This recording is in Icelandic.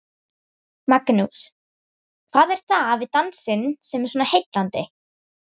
Magnús: Hvað er það við dansinn sem er svona heillandi?